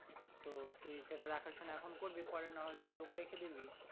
তো তুই সেটা দেখা সোনা এখন করবি নাহলে লোক রেখে দিবি।